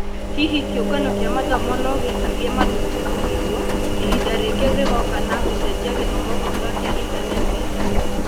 Hihi kĩũngano kĩa mathomo nogĩtirie mathukuru kũhingwo ihinda rĩngĩ rĩgoka na gũcenjia gĩthomo gũtũĩka kĩa intaneti-inĩ ?